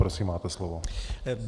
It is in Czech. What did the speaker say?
Prosím, máte slovo.